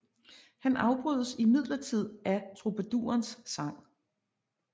Han afbrydes imidlertid af trubadurens sang